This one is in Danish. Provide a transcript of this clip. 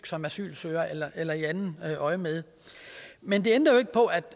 som asylsøgere eller i andet øjemed men det ændrer ikke på at